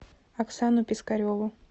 оксану пискареву